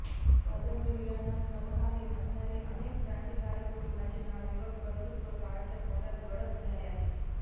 स्वातंत्र्यवीरांना समकालीन असणारी अनेक क्रांतिकारक कुटुंबांची नावे व कर्तृत्व काळाच्या पोटात गडप झाले आहे